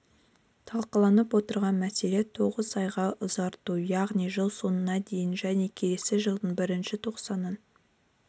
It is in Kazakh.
талқыланып отырған мәселе тоғыз айға ұзарту яғни жыл соңына дейін және келесі жылдың бірінші тоқсанын